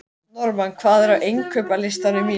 Normann, hvað er á innkaupalistanum mínum?